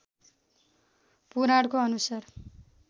पुराणको अनुसार